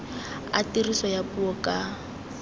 a tiriso ya puo ka